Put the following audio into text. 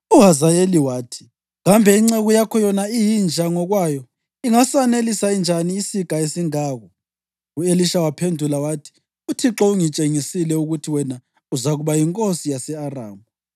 UHazayeli wathi, “Kambe inceku yakho, yona iyinja ngokwayo, ingasanelisa njani isiga esingako?” U-Elisha waphendula wathi, “ UThixo ungitshengisile ukuthi wena uzakuba yinkosi yase-Aramu.”